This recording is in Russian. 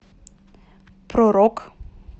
про рок